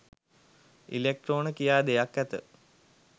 ඉලෙක්ට්‍රෝන කියා දෙයක් ඇත